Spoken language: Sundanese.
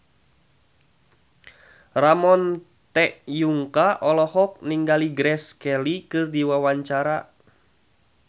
Ramon T. Yungka olohok ningali Grace Kelly keur diwawancara